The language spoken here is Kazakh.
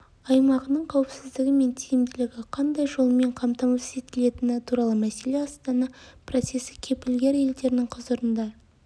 аймағының қауіпсіздігі мен тиімділігі қандай жолмен қамтамасыз етілетіні туралы мәселе астана процесі кепілгер елдерінің құзырында